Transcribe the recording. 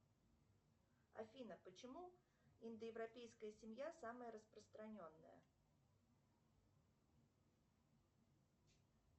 афина почему индоевропейская семья самая распространенная